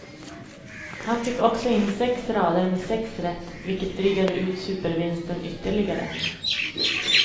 Han fick också in sex rader med sex rätt, vilket drygade ut supervinsten ytterligare.